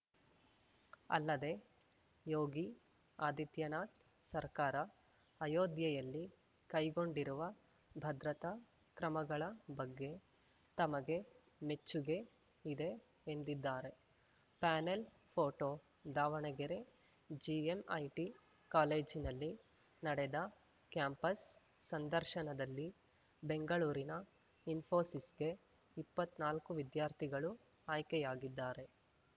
ಅಲ್ಲದೆ ಯೋಗಿ ಆದಿತ್ಯನಾಥ್‌ ಸರ್ಕಾರ ಅಯೋಧ್ಯೆಯಲ್ಲಿ ಕೈಗೊಂಡಿರುವ ಭದ್ರತಾ ಕ್ರಮಗಳ ಬಗ್ಗೆ ತಮಗೆ ಮೆಚ್ಚುಗೆ ಇದೆ ಎಂದಿದ್ದಾರೆ ಪ್ಯಾನೆಲ್‌ ಫೋಟೋ ದಾವಣಗೆರೆ ಜಿಎಂಐಟಿ ಕಾಲೇಜಿನಲ್ಲಿ ನಡೆದ ಕ್ಯಾಂಪಸ್‌ ಸಂದರ್ಶನದಲ್ಲಿ ಬೆಂಗಳೂರಿನ ಇಸ್ಫೋಸಿಸ್‌ಗೆ ಇಪ್ಪತ್ನಾಲ್ಕು ವಿದ್ಯಾರ್ಥಿಗಳು ಆಯ್ಕೆಯಾಗಿದ್ದಾರೆ